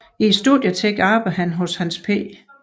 I studietiden arbejdede han hos Hans J